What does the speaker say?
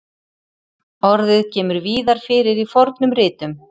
Orðið kemur víðar fyrir í fornum ritum.